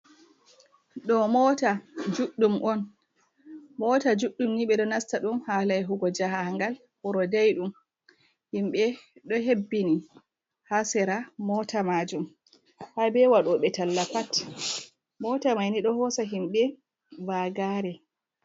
Ɗo mota juɗɗum on. Mota juɗɗum ni be ɗo nasta ɗum hala yahugo jahangal wuro ɗaiɗum. Himbe ɗo hebbini ha sira mota majum. Habe waɗobe talla pat. Mota maini ɗo hosa himbe vagare.